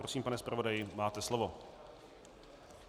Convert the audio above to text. Prosím, pane zpravodaji, máte slovo.